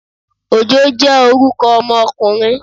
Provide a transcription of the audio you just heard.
Òjó jẹ́ orúkọ ọmọkùnrin